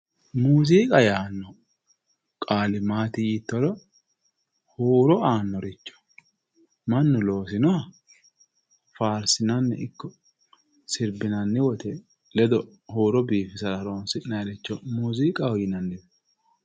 Muuziiqa yaanno qaali maati yiittoro huuro aannoricho mannu loosinoha faarsinanni ikko sirbinanni woyte ledo huuro biifisate horonsi'nayricho muuziiqaho yinanniwe